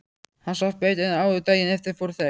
Hann svaf betur en áður og daginn eftir fóru þeir